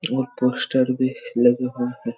इनमे पोस्टर भी लगे हुए है।